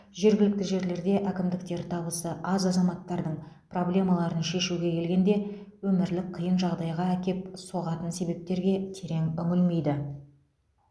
жергілікті жерлерде әкімдіктер табысы аз азаматтардың проблемаларын шешуге келгенде өмірлік қиын жағдайға әкеп соғатын себептерге терең үңілмейді